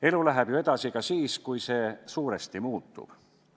Elu läheb ju edasi ka siis, kui see suuresti muutub.